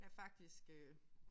Der faktisk øh